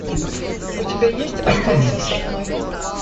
у тебя есть останься со мной